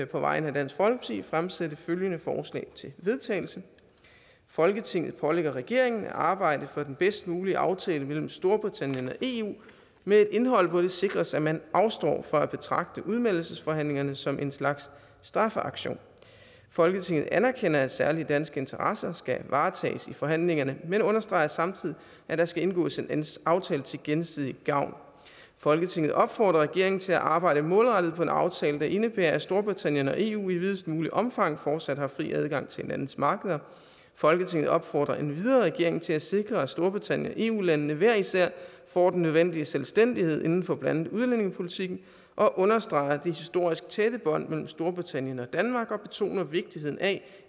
på vegne af dansk folkeparti fremsætte følgende forslag til vedtagelse folketinget pålægger regeringen at arbejde for den bedst mulige aftale mellem storbritannien og eu med et indhold hvor det sikres at man afstår fra at betragte udmeldelsesforhandlingerne som en slags straffeaktion folketinget anerkender at særlige danske interesser skal varetages i forhandlingerne men understreger samtidig at der skal indgås en aftale til gensidig gavn folketinget opfordrer regeringen til at arbejde målrettet på en aftale der indebærer at storbritannien og eu i videst muligt omfang fortsat har fri adgang til hinandens markeder folketinget opfordrer endvidere regeringen til at sikre at storbritannien og eu landene hver især får den nødvendige selvstændighed inden for blandt andet udlændingepolitikken og understreger det historisk tætte bånd mellem storbritannien og danmark og betoner vigtigheden af